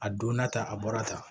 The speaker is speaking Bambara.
A donna tan a bɔra tan